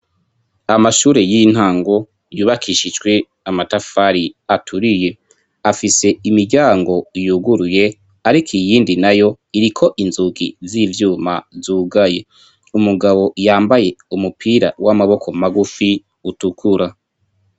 Amashure y'intango yubakishijwe amatafari aturiye afise imiryango yuguruye, ariko iyindi na yo iriko inzugi z'ivyuma zugaye umugabo yambaye umupira w'amaboko magufi utukura.